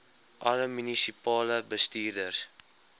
alle munisipale bestuurders